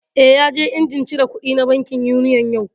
Eh, ya je injin cire kuɗi na bankin Union yau